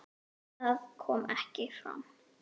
Það kom ekki fram.